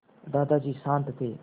दादाजी शान्त थे